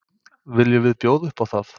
Viljum við bjóða upp á það?